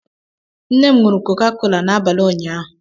Nne m ṅụrụ Coca-Cola n'abalị ụnyaahụ.